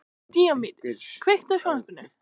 Díómedes, kveiktu á sjónvarpinu.